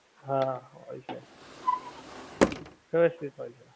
હા હોએ છે, વ્યવસ્થિત હોએ છે